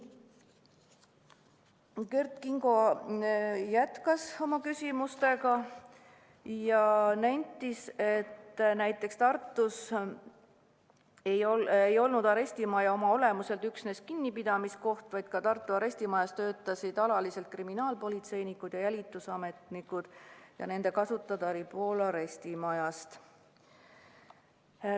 Kert Kingo jätkas oma küsimusi ja nentis, et näiteks Tartus ei olnud arestimaja oma olemuselt üksnes kinnipidamiskoht, vaid Tartu arestimajas töötasid alaliselt ka kriminaalpolitseinikud ja jälitusametnikud ja nende kasutada oli pool arestimajast.